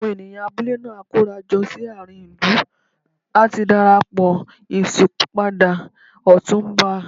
Àwọn ènìyàn abúlé náà á kóra jọ sí àárín ìlú láti dárò ìṣípò padà Ọ̀túnba.